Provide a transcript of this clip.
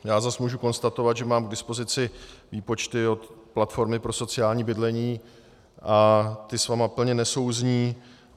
Já zase můžu konstatovat, že mám k dispozici výpočty od Platformy pro sociální bydlení a ty s vámi plně nesouzní.